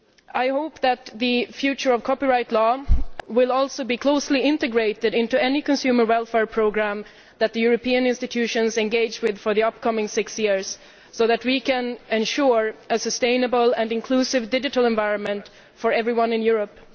I hope that the future of copyright law will also be closely integrated into any consumer welfare programme that the European institutions engage with in the upcoming six years so that we can ensure a sustainable and inclusive digital environment for everyone in Europe.